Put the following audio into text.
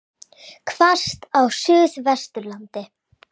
Hvasst á Suðvesturlandi